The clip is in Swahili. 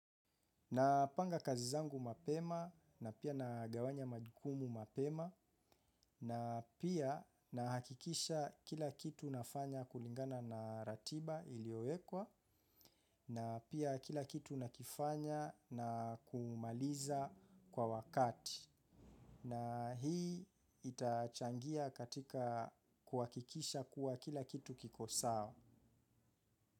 Napanga kazi zangu mapema na pia nagawanya majukumu mapema na pia nahakikisha kila kitu nafanya kulingana na ratiba iliyowekwa na pia kila kitu nakifanya na kumaliza kwa wakati. Na hii itachangia katika kuhakikisha kuwa kila kitu kiko sawa.